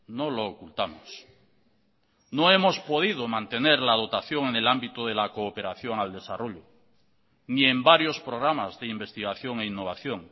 no lo ocultamos no hemos podido mantener la dotación en el ámbito de la cooperación al desarrollo ni en varios programas de investigación e innovación